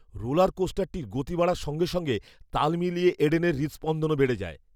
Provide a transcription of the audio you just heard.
Roller কোস্টারটির গতি বাড়ার সঙ্গে সঙ্গে তাল মিলিয়ে এডেনের হৃদস্পন্দনও বেড়ে যায়।